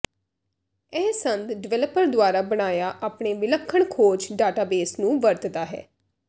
ਇਹ ਸੰਦ ਡਿਵੈਲਪਰ ਦੁਆਰਾ ਬਣਾਇਆ ਆਪਣੇ ਵਿਲੱਖਣ ਖੋਜ ਡਾਟਾਬੇਸ ਨੂੰ ਵਰਤਦਾ ਹੈ